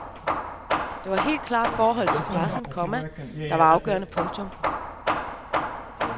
Det var helt klart forholdet til pressen, komma der var afgørende. punktum